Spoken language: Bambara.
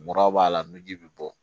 Mura b'a la ni ji bɛ bɔ